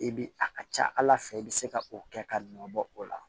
E bi a ka ca ala fɛ i bi se ka o kɛ ka nɔbɔ o la